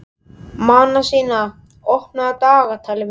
Manasína, opnaðu dagatalið mitt.